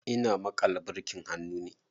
Ina maƙala birkin hannu ne.